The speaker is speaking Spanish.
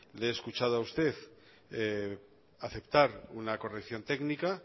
le he escuchado a usted aceptar una corrección técnica